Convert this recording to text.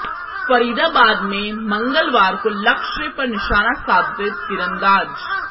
फरीदाबाद में मंगलवार को लक्ष्य पर निशाना साधते तीरंदाज